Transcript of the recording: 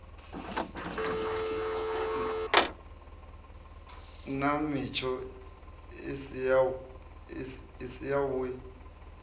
nna mitsho i si yavhui